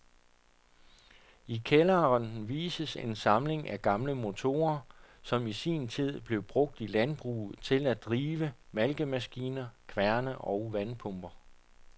I kælderen vises en samling af gamle motorer, som i sin tid blev brugt i landbruget til at drive malkemaskiner, kværne og vandpumper.